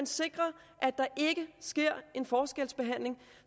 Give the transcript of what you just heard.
sikre at der ikke sker en forskelsbehandling